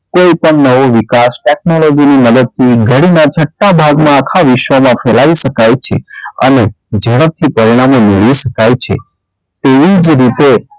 કોઈ પણ નવું વિકાસ technology ના મદદથી ઘડી ના છટા ભાગમાં આખા વિશ્વમાં ફેલાવી શકાય છે અને જડપથી પરિણામો મેળવી શકાય છે. તેવી જ રીતે,